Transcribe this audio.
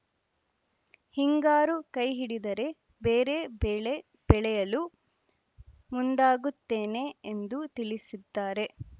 ಹಿಂಗಾರು ಕೈಹಿಡಿದರೆ ಬೇರೆ ಬೆಳೆ ಬೆಳೆಯಲು ಮುಂದಾಗುತ್ತೇನೆ ಎಂದು ತಿಳಿಸಿದ್ದಾರೆ